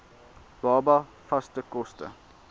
baba vaste kos